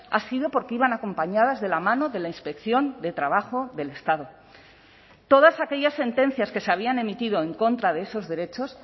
ha sido porque iban acompañadas de la mano de la inspección de trabajo del estado todas aquellas sentencias que se habían emitido en contra de esos derechos